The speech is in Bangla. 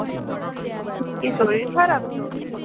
কি শরীর খারাপ তোর?